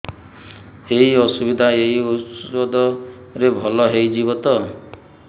ଏଇ ଅସୁବିଧା ଏଇ ଔଷଧ ରେ ଭଲ ହେଇଯିବ ତ